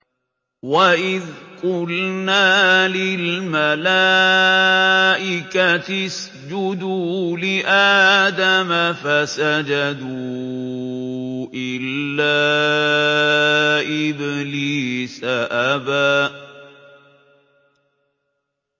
وَإِذْ قُلْنَا لِلْمَلَائِكَةِ اسْجُدُوا لِآدَمَ فَسَجَدُوا إِلَّا إِبْلِيسَ أَبَىٰ